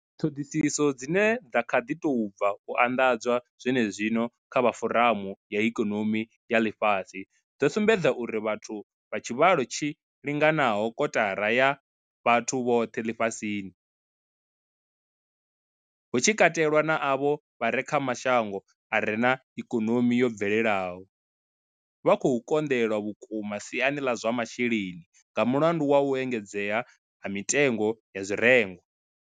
Ṱhoḓisiso dzine dza kha ḓi tou bva u anḓadzwa zwene zwino dza vha Foramu ya Ikonomi ya Ḽifhasi, dzo sumbedza uri vhathu vha tshivhalo tshi linganaho kotara ya vhathu vhoṱhe ḽifhasini, hu tshi katelwa na avho vha re kha mashango a re na ikonomi yo bvelelaho, vha khou konḓelwa vhukuma siani ḽa zwa masheleni nga mulandu wa u engedzea ha mitengo ya zwirengwa.